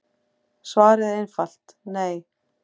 Svarið er einfalt nei.